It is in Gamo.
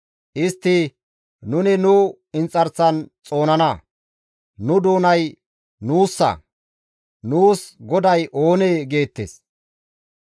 Istti, «Nuni nu inxarsan xoonana; nu doonay nuussa; nuus goday oonee?» geettes.